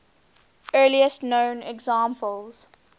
earliest known examples